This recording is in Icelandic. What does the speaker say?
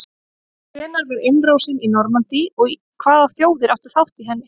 hvenær var innrásin í normandí og hvaða þjóðir áttu þátt í henni